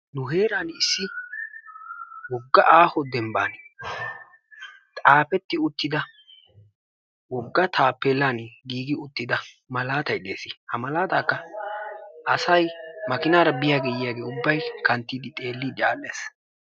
Nu heeraani issi wogga aaho denbban xaafetti uttida wogga taappeellaani giigi uttida malaatay deesi. Ha malaataakka asay makinaara biyagee yiyagee ubbay kanttiiddi xeelliiddi aadhdhees.